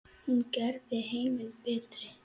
Hún gerði heiminn betri.